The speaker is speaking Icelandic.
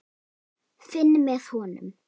Finn með honum.